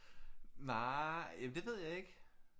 Nej jamen det ved jeg ikke